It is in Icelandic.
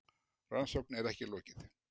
Rannsókn er ekki lokið.